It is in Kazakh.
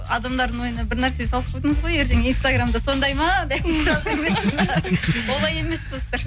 адамдардың ойына бір нәрсе салып қойдыңыз ғой ертең инстаграмда сондай ма деп олай емес достар